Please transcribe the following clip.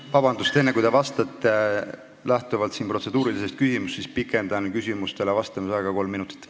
Vabandust, enne kui te vastate, ütlen, et esitatud protseduurilise küsimuse tõttu pikendan küsimustele vastamise aega kolm minutit.